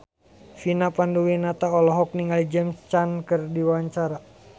Vina Panduwinata olohok ningali James Caan keur diwawancara